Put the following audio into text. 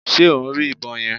Ṣe o ń rí ìbọn yẹn?